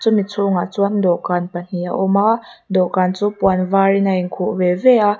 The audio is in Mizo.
chumi chhungah chuan dawhkan pahnih a awm a dawhkan chu puan var in a in khuh ve ve a.